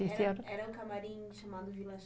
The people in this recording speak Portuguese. Era, era um camarim chamado Vila